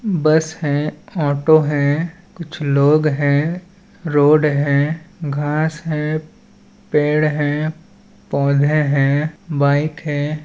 बस है ऑटो है कुछ लोग है रोड है घास है पेड़ है पौधे है बाइक है।